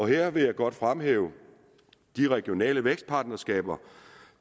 her vil jeg godt fremhæve de regionale vækstpartnerskaber